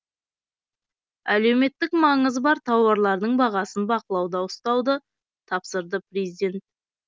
әлеуметтік маңызы бар тауарлардың бағасын бақылауда ұстауды тапсырды президент